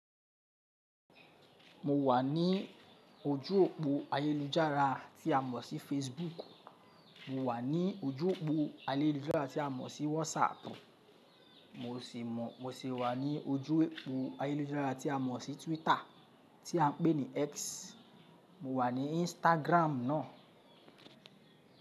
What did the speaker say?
Mo wà ní ojú òpó ayélujára tí a mọ̀ sí Facebook. Mo wà ní ojú òpó ayélujára tí a mọ̀ sí WhatsApp. Mo sì wà ní ojú opó ayélujára tí a mọ̀ sí Twitter tí a ń pè ní X. Mo wà ní Instagram náà.